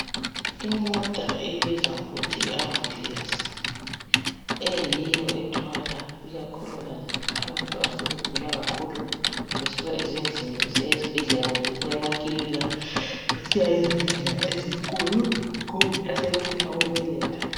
Imota ebizwa ngokuthi yiambulensi eyiyo ethwala ikakhulukazi abantu asebegula kakhulu besuka ezindlini besiya ezibhedlela kumbe besuka emakilinika besiya ezibhedlela ezinkulu kumbe asebefuna ukubeletha.